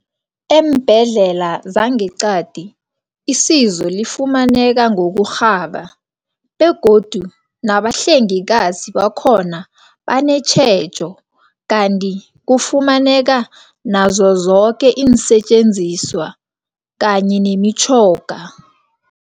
Eembhedlela zangeqadi isizo lifumaneka ngokurhaba begodu nabahlengikazi bakhona banetjhejo. Kanti kufumaneka nazo zoke iinsetjenziswa kanye nemitjhoga.